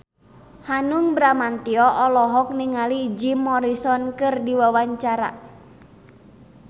Hanung Bramantyo olohok ningali Jim Morrison keur diwawancara